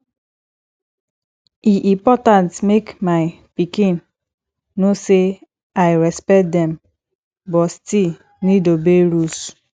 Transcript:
e important make my pikin know say i respect dem but still need obey rules